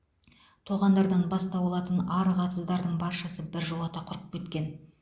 тоғандардан бастау алатын арық атыздардың баршасы біржолата құрып кеткен